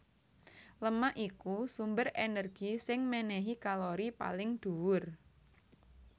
Lemak iku sumber énergi sing ménéhi kalori paling dhuwur